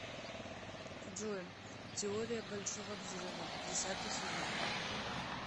джой теория большого взрыва десятый сезон